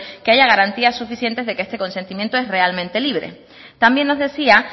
que haya garantías suficientes de que este consentimiento es realmente libre también nos decía